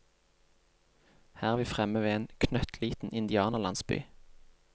Her er vi fremme ved en knøttliten indianerlandsby.